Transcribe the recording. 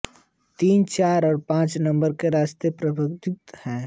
तीन चार और पांच नंबर के रास्ते प्रतिवर्तनीय हैं